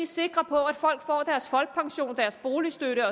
sikre på at folk får deres folkepension deres boligstøtte